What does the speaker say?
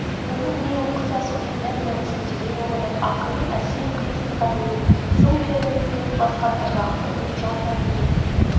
оның не оқыса соның мән-мәнісін терең ұғынып ақынның әсем қиыстырған ойын сым пернедей дөп басқан ырғақты үнін жан-тәнімен